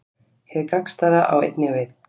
Hið gagnstæða á einnig við.